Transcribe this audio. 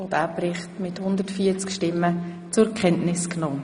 Auch diesen Bericht haben Sie zur Kenntnis genommen.